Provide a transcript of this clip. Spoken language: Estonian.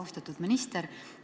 Austatud minister!